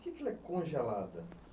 Por que que é congelada?